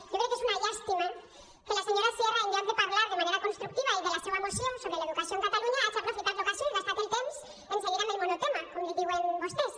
jo crec que és una llàstima que la senyora sierra en lloc de parlar de manera constructiva i de la seua moció sobre l’educació a catalunya hagi aprofitat l’ocasió i gastat el temps en seguir amb el monotema com li diuen vostès